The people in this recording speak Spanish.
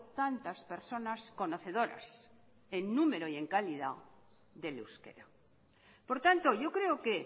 tantas personas conocedoras en número y en calidad del euskera por tanto yo creo que